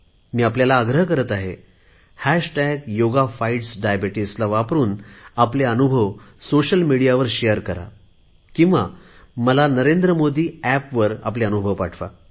मी आपल्याला आग्रह करत आहे हॅशटॅश योगा फाईटस् डायबेटिज्ला वापरुन आपले अनुभव सोशल मिडियावर शेअर करा किंवा मला NarendraModiApp वर आपले अनुभव पाठवा